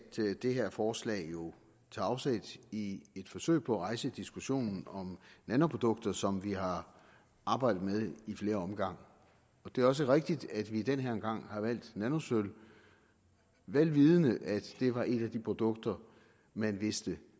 det her forslag jo tager afsæt i et forsøg på at rejse diskussionen om nanoprodukter som vi har arbejdet med i flere omgange det er også rigtigt at vi den her gang har valgt nanosølv vel vidende at det var et af de produkter man vidste